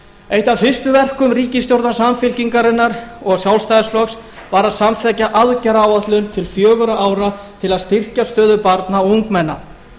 eitt af fyrstu verkum ríkisstjórnar samfylkingarinnar og sjálfstæðisflokksins var að samþykkja aðgerðaáætlun til fjögurra ára til að styrkja stöðu barna og ungmenna